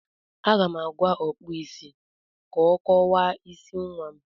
Aga m agwa Ọkpụụ isi ka ọ kọwaa isi nwa m.